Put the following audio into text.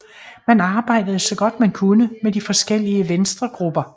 Man arbejdede så godt man kunne med de forskellige venstregrupper